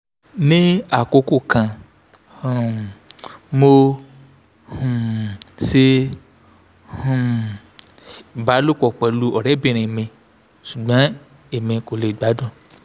ni akoko kan um mo um ṣe um ibalopọ pẹlu ọrẹbinrin mi ṣugbọn emi ko le gbadun